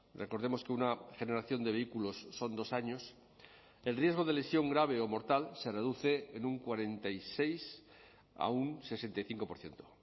recordemos que una generación de vehículos son dos años el riesgo de lesión grave o mortal se reduce en un cuarenta y seis a un sesenta y cinco por ciento